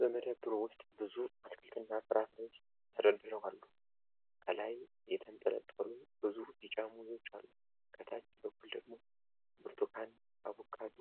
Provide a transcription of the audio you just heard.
በመደብሩ ውስጥ ብዙ አትክልትና ፍራፍሬዎች ተደርድረው አሉ። ከላይ የተንጠለጠሉ ብዙ ቢጫ ሙዞች አሉ፤ ከታች በኩል ደግሞ ብርቱካን፣ አቮካዶ፣